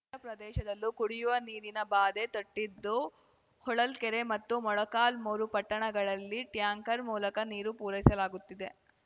ನಗರ ಪ್ರದೇಶದಲ್ಲೂ ಕುಡಿಯುವ ನೀರಿನ ಬಾಧೆ ತಟ್ಟಿದ್ದು ಹೊಳಲ್ಕೆರೆ ಮತ್ತು ಮೊಳಕಾಲ್ಮುರು ಪಟ್ಟಣಗಳಲ್ಲಿ ಟ್ಯಾಂಕರ್‌ ಮೂಲಕ ನೀರು ಪೂರೈಸಲಾಗುತ್ತಿದೆ